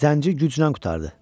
Zəngi güclə qurtardı.